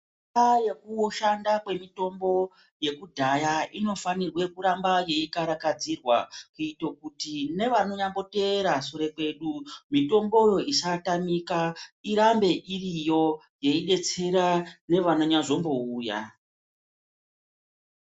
Kudhaya kushanda kwemitombo yekudhaya inofanirwe kuramba yeikarakadzirwa kuito kuti nevanonyamboteera sure kwedu mitomboyo isatamika irambe iriyo yeidetsera nevanonyazombouya.